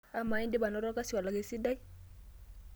Amaa, indipipa anoto olkasi olak esidai.